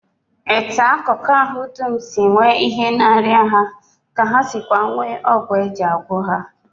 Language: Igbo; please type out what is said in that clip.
Etu akụkụ ahụ dum si nwee ihe na-arịa ha ka ha si nweekwa ọgwụ e ji agwọ ha